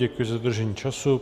Děkuji za dodržení času.